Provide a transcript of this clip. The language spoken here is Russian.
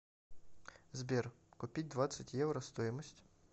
сбер купить двадцать евро стоимость